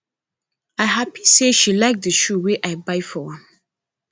i happy say she like the shoe i buy for am